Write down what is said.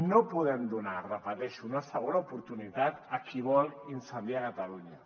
no podem donar ho repeteixo una segona oportunitat a qui vol incendiar catalunya